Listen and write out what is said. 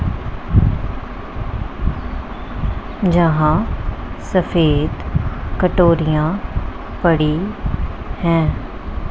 जहां सफेद कटोरियां पड़ी हैं।